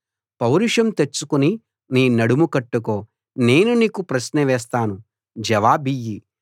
పౌరుషం తెచ్చుకుని నీ నడుము కట్టుకో నేను నీకు ప్రశ్నవేస్తాను జవాబియ్యి